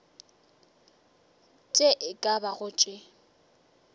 tše e ka bago tše